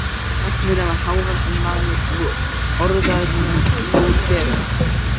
Læknirinn var hávaxinn maður og horaður með stór gleraugu.